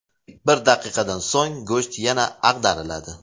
Bir daqiqadan so‘ng go‘sht yana ag‘dariladi.